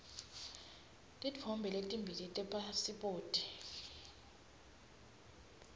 titfombe letimbili tepasiphoti